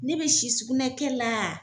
Ne bɛ si sugunɛkɛ la.